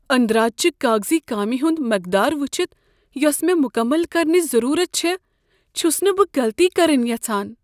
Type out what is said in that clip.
أندراج چہِ کاغذی کامِہ ہُند مقدار وٕچھتھ یوسہٕ مےٚ مکمل کرنٕچ ضرورت چھ، چھس نہٕ بہٕ غلطی کرٕنہِ یژھان۔